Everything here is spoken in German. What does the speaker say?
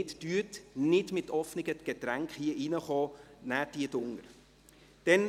Kommen Sie nicht mit offenen Getränken herein, trinken Sie diese unten.